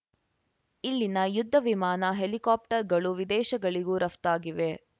ಇಲ್ಲಿನ ಯುದ್ಧ ವಿಮಾನ ಹೆಲಿಕಾಪ್ಟರ್‌ಗಳು ವಿದೇಶಗಳಿಗೂ ರಫ್ತಾಗಿವೆ